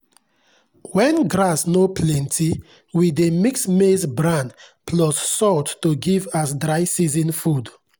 when grass no plenty we dey mix maize bran plus salt to give as dry season food.